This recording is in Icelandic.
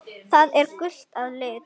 Það er gult að lit.